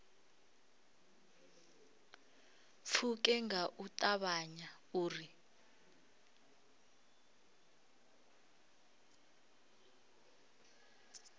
pfuke nga u ṱavhanya uri